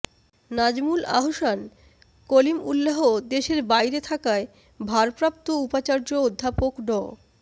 নাজমুল আহসান কলিমউল্লাাহ দেশের বাইরে থাকায় ভারপ্রাপ্ত উপাচার্য অধ্যাপক ড